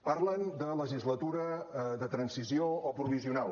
parlen de legislatura de transició o provisional